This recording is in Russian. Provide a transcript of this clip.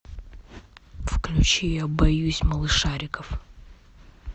включи я боюсь малышариков